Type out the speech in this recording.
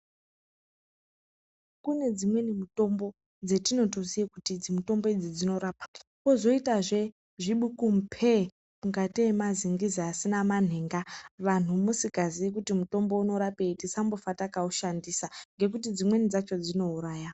Kune dzimweni mutombo dzetinotoziya kuti idzi mutombo idzi dzinorapa. Kozoitazve zvikubu mupee ngatei mazingizi asina manhenga. Vanhu musikaziyi kuti mutombo unorapei tisambofa takaushandisa, ngekuti dzimweni dzacho dzinouraya.